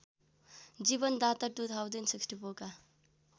जीवनदाता २०६४ का